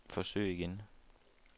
forsøg igen